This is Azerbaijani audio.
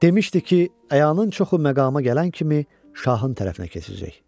Demşdi ki, əyanın çoxu məqama gələn kimi şahın tərəfinə keçəcək.